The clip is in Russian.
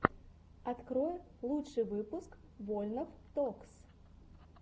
открой лучший выпуск вольнов токс